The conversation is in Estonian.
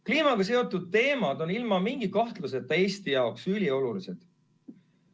Kliimaga seotud teemad on ilma mingi kahtluseta Eesti jaoks üliolulised.